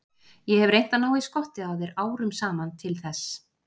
Ég hef reynt að ná í skottið á þér árum saman til þess.